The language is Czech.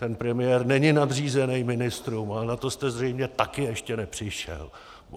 Ten premiér není nadřízený ministrům, ale na to jste zřejmě také ještě nepřišel!